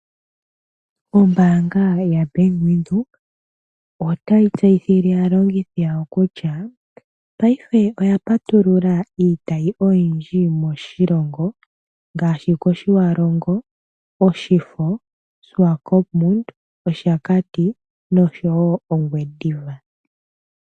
Ombaanga ya Bank Widhoek otayi tseyithile aalongithi yawo kutya, ngaashingeyi oya patulula iitayi oyindji moshilongo, ngaashi kOshiwarongo, Oshifo, Oshiwakopo, Oshakati nosho wo Ongwediva.